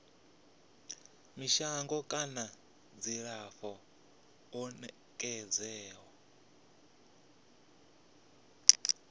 mishonga kana dzilafho ḽo nekedzwaho